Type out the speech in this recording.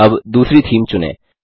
अब दूसरी थीम चुनें